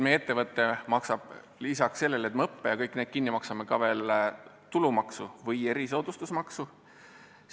Meie ettevõte maksab lisaks sellele, et me õppe ja kõik muu kinni maksame, ka veel tulumaksu või erisoodustusmaksu.